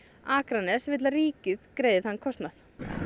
Akranes vill að ríkið greiði þann kostnað